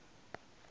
nge pfuki ndzi n wi